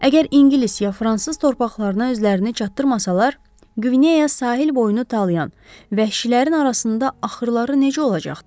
Əgər ingilis ya fransız torpaqlarına özlərini çatdırmasalar, Qvineya sahil boyu talayan vəhşilərin arasında axırları necə olacaqdı?